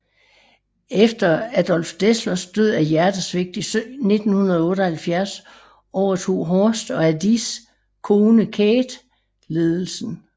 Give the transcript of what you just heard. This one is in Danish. Efter Adolf Dasslers død af hjertesvigt i 1978 overtog Horst og Adis kone Käthe ledelsen